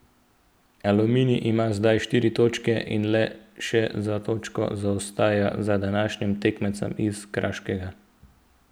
Aluminij ima zdaj štiri točke in le še za točko zaostaja za današnjim tekmecem iz Krškega.